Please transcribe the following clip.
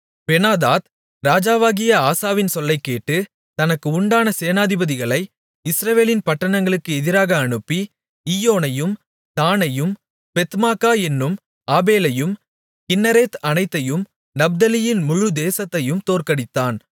Benhadad ராஜாவாகிய ஆசாவின் சொல்லைக்கேட்டு தனக்கு உண்டான சேனாபதிகளை இஸ்ரவேலின் பட்டணங்களுக்கு எதிராக அனுப்பி ஈயோனையும் தாணையும் பெத்மாக்கா என்னும் ஆபேலையும் கின்னரேத் அனைத்தையும் நப்தலியின் முழு தேசத்தையும் தோற்கடித்தான்